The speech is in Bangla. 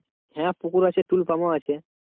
হ্যাঁ পুকুর আছে tulu pump আছে।